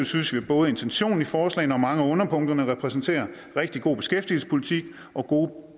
synes vi at både intentionen i forslagene og mange af underpunkterne repræsenterer rigtig god beskæftigelsespolitik og gode